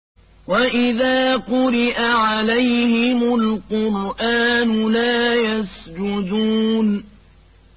وَإِذَا قُرِئَ عَلَيْهِمُ الْقُرْآنُ لَا يَسْجُدُونَ ۩